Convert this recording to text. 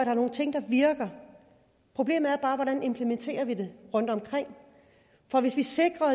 er nogle ting der virker problemet er bare hvordan vi implementerer det rundtomkring for hvis vi sikrer